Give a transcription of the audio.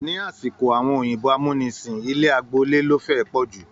Ni asiko àwọn òyìnbó amúnisìn, ilé agboole lo fẹ e pọju.